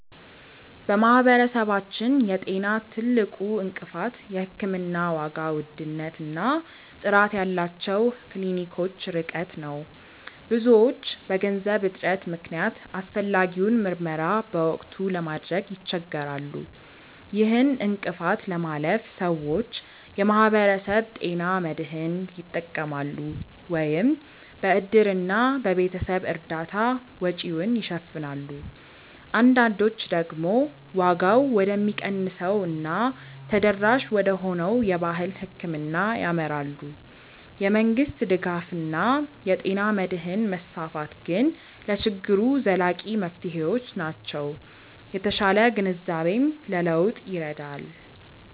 በማህበረሰባችን የጤና ትልቁ እንቅፋት የሕክምና ዋጋ ውድነት እና ጥራት ያላቸው ክሊኒኮች ርቀት ነው። ብዙዎች በገንዘብ እጥረት ምክንያት አስፈላጊውን ምርመራ በወቅቱ ለማድረግ ይቸገራሉ። ይህን እንቅፋት ለማለፍ ሰዎች የማህበረሰብ ጤና መድህን ይጠቀማሉ፤ ወይም በእድርና በቤተሰብ እርዳታ ወጪውን ይሸፍናሉ። አንዳንዶች ደግሞ ዋጋው ወደሚቀንሰው እና ተደራሽ ወደሆነው የባህል ሕክምና ያመራሉ። የመንግስት ድጋፍ እና የጤና መድህን መስፋፋት ግን ለችግሩ ዘላቂ መፍትሄዎች ናቸው። የተሻለ ግንዛቤም ለለውጥ ይረዳል።